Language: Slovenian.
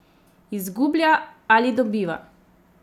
Izgublja ali dobiva?